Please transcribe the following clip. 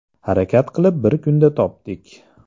Harakat qilib bir kunda topdik.